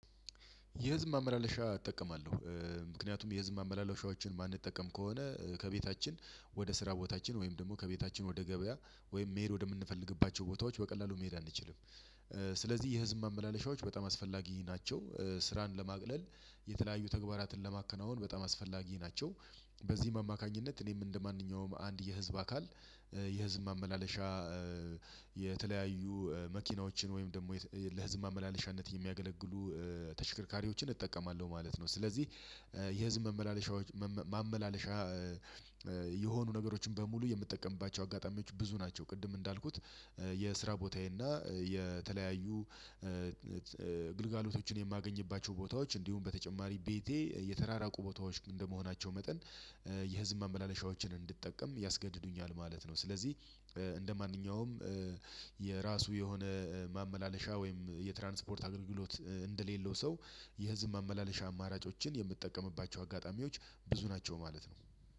የህዝብ ማመላለሻ እጠቀማለሁ። ምክንያቱም የህዝብ ማመላለሻዎችን ማንጠቀም ከሆነ ከቤታችን ወደ ስራ ቦታችን ወይም ደግሞ ከቤታችን ወደ ገበያ ወይም መሄድ ወደምንፈልግባቸው ቦታዎች በቀላሉ መሄድ አንችልም ስለዚህ የህዝብ ማመላለሻዎች በጣም አስፈላጊ ናቸው። ስራን ለማቅለል የተለያዩ ተግባራትን ለማከናወን በጣም አስፈላጊ ናቸው። በዚህም አማካኝነት እኔም እንደማንኛውም አንድ የህዝብ አካል የህዝብ ማመላለሻ የተለያዩ መኪናዎችን ወይም ደግሞ ለህዝብ ማመላለሻነት የሚያገለግሉ ተሽከርካሪዎችን እጠቀማለሁ ማለት ነው ስለዚህ የህዝብ መመላለሻ ማመላለሻ የሆኑ ነገሮችን በሙሉ የምጠቀምባቸው አጋጣሚዎች ብዙ ናቸው ቅድም እንዳልኩት የስራ ቦታዬ እና የተለያዩ ግልጋሎቶችን የማገኝባቸው ቦታዎች እንዲሁም በተጨማሪ ቤቴ የተራራቁ ቦታዎች እንደመሆናቸው መጠን የህዝብ ማመላለሻዎችን እንድጠቀም ያስገድዱኛል ማለት ነው ስለዚህ እንደማንኛውም የራሱ የሆነ ማመላለሻ ወይም የትራንስፖርት አገልግሎት እንደሌለው ሰው የህዝብ ማመላለሻ አማራጮችን የምጠቀምባቸው አጋጣሚዎች ብዙ ናቸው ማለት ነው